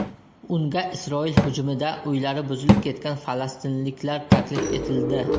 Unga Isroil hujumida uylari buzilib ketgan falastinliklar taklif etildi.